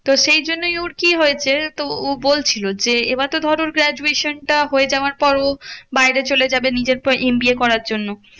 তো সেই জন্যই ওর কি হয়েছে? তো ও বলছিলো যে, এবার তো ধরো গ্রাজুয়েশন টা হয়ে যাবার পর ও বাইরে চলে যাবে নিজের তো এম বি এ করার জন্য।